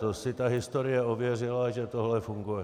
To si ta historie ověřila, že tohle funguje.